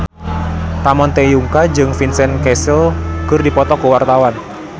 Ramon T. Yungka jeung Vincent Cassel keur dipoto ku wartawan